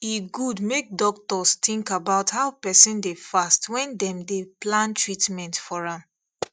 e good make doctors think about how person dey fast when dem dey plan treatment for am